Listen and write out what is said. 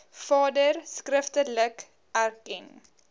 vader skriftelik erken